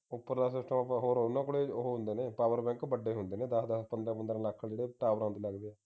ਉਪਰਲਾ system ਉਨ੍ਹਾਂ ਕੋਲ ਹੋਰ ਉਨ੍ਹਾਂ ਕੋਲ ਹੁੰਦੇ ਨੇ power bank ਵੱਡੇ ਹੁੰਦੇ ਨੇ ਦਸ ਦਸ ਪੰਦਰਾਂ ਪੰਦਰਾਂ ਲੱਖ ਦੇ ਜਿਹੜੇ tower ਤੇ ਲੱਗਦੇ ਹਾਂ